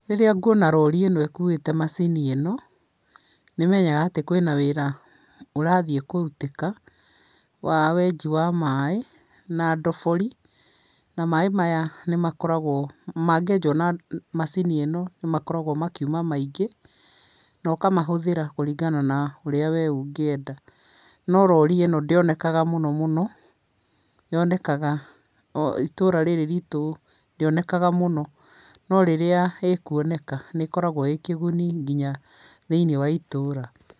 Rĩrĩa nguona rori ĩno ĩkuĩte macini ĩno, nĩ menyaga atĩ kwĩna wĩra ũrathiĩ kũrutĩka wa wenji wa maĩ na ndobori. Na maĩ maya nĩ makoragwo mangĩenjwo na macini ĩno nĩ makoragwo makiuma maingĩ, no kamahũthĩra kũringana na ũrĩa wee ũngĩenda. No rori ĩno ndĩonekaga mũno mũno, yonekaga o itũra rĩrĩ ritũ ndĩonekaga mũno, no rĩrĩa ĩkuoneka nĩ ĩkoragwo ĩkĩguni nginya thĩinĩ wa itũũra.